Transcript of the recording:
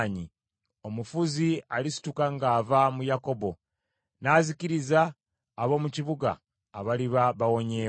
Omufuzi alisituka ng’ava mu Yakobo n’azikiriza ab’omu kibuga abaliba bawonyeewo.”